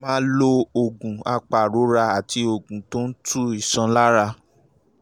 máa lo oògùn apàrora àti oògùn tó ń tu iṣan lára